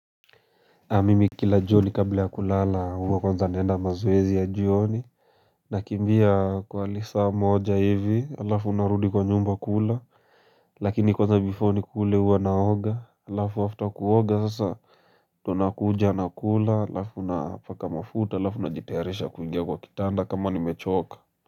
Mimi kila jioni kabla ya kulala huwa kwanza naenda mazoezi ya jioni, nakimbia kwa lisa moja hivi alafu unarudi kwa nyumba kula lakini kwanza before nikule huwa naoga, alafu after kuoga sasa tunakuja nakula alafu napaka mafuta alafu najitayarisha kuingia kwa kitanda kama nimechoka.